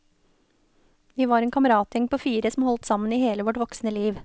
Vi var en kameratgjeng på fire som holdt sammen i hele vårt voksne liv.